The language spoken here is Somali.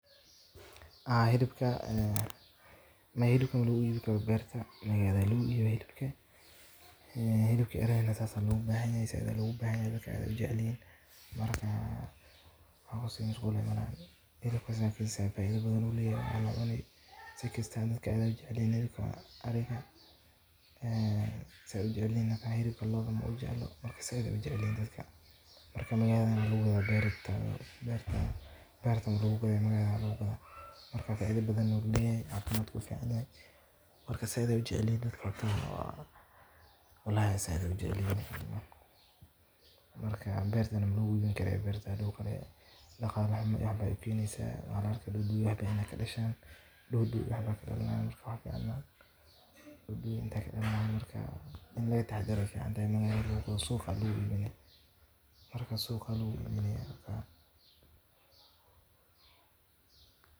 hilibka ariga ma ku iibisaa beertaada